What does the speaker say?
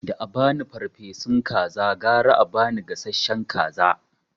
Da abani farfesun kaza gara a ba ni gasashshen kaza